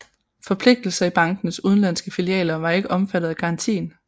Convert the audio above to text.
Forpligtelser i bankenes udenlandske filialer var ikke omfattet af garantien